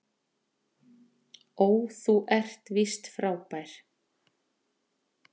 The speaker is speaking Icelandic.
Ó þú ert víst frábær